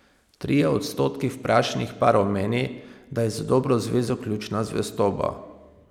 Trije odstotki vprašanih parov meni, da je za dobro zvezo ključna zvestoba.